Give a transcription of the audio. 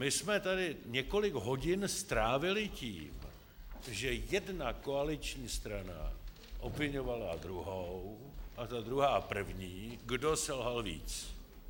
My jsme tady několik hodin strávili tím, že jedna koaliční strana obviňovala druhou a ta druhá první, kdo selhal víc.